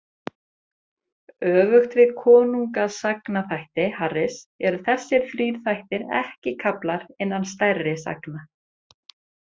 Öfugt við konungasagnaþætti Harris eru þessir þrír þættir ekki kaflar innan stærri sagna.